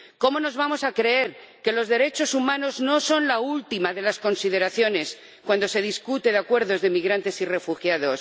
¿Cómo nos vamos a creer que los derechos humanos no son la última de las consideraciones cuando se discute de acuerdos de migrantes y refugiados?